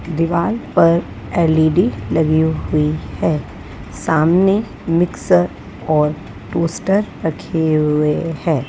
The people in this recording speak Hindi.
दिवाल पर एल_ई_डी लगी हुई है सामने मिक्सर और टोस्टर रखे हुए हैं।